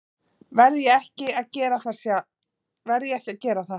Verð ég ekki að gera það?